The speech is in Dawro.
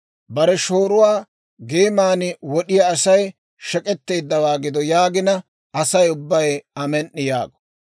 « ‹Bare shooruwaa geeman wod'iyaa Asay shek'etteeddawaa gido› yaagina, Asay ubbay, ‹Amen"i!› yaago.